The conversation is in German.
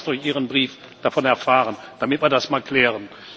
Ich habe aber erst durch Ihren Brief davon erfahren, damit war das mal klären.